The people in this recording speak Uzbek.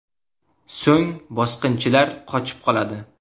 So‘ng bosqinchilar qochib qoladi.